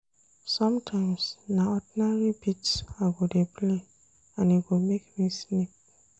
Sometimes na ordinary beats I go dey play and e go make me sleep.